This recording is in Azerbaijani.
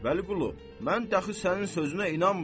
Vəliqulu, mən dəxi sənin sözünə inanmıram.